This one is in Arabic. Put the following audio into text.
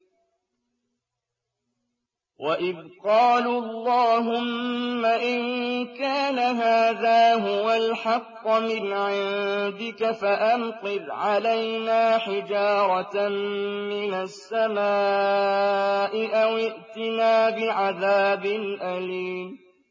وَإِذْ قَالُوا اللَّهُمَّ إِن كَانَ هَٰذَا هُوَ الْحَقَّ مِنْ عِندِكَ فَأَمْطِرْ عَلَيْنَا حِجَارَةً مِّنَ السَّمَاءِ أَوِ ائْتِنَا بِعَذَابٍ أَلِيمٍ